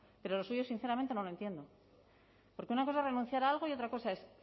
pero lo suyo sinceramente no lo entiendo porque una cosa es renunciar a algo y otra cosa es